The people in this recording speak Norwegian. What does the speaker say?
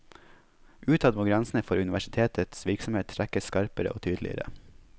Utad må grensene for universitetets virksomhet trekkes skarpere og tydeligere.